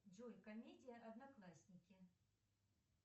джой комедия одноклассники